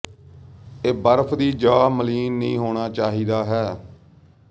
ਇਹ ਬਰਫ ਦੀ ਜ ਮਲੀਨ ਨਹੀ ਹੋਣਾ ਚਾਹੀਦਾ ਹੈ